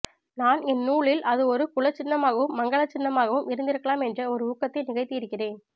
நான் என் நூலில் அது ஒரு குலச்சின்னமாகவும் மங்கலச்சின்னமாகவும் இருந்திருக்கலாம் என்ற ஒரு ஊகத்தை நிகழ்த்தியிருக்கிறேன்